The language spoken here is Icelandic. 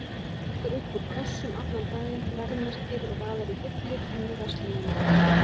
Tekur upp úr kössum allan daginn, verðmerkir og raðar í hillur inni í versluninni.